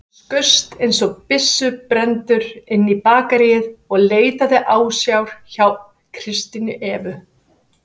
Hann skaust einsog byssubrenndur inn í bakaríið og leitaði ásjár hjá Kristínu Evu.